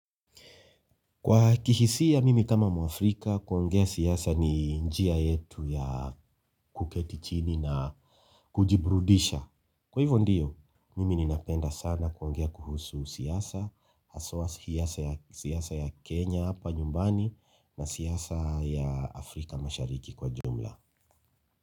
Kwa kihisia mimi kama Mwafrika, kuongea siasa ni njia yetu ya kuketi chini na kujibrudisha. Kwa hivyo ndiyo, mimi ninapenda sana kuongea kuhusu siasa, haswa siasa ya Kenya hapa nyumbani. Na siasa ya Afrika mashariki kwa jumla.